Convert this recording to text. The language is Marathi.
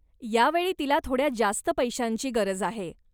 या वेळी तिला थोड्या जास्त पैशांची गरज आहे.